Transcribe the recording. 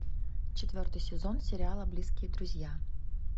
четвертый сезон сериала близкие друзья